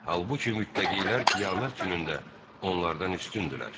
Halbuki mütləqilər qiyamət günündə onlardan üstündürlər.